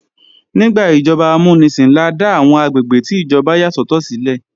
Nígbà ìjọba amúnisìn la dá àwọn àgbègbè tí ìjọba yà sọ́tọ̀ sílẹ̀